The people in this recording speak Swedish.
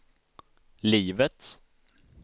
livet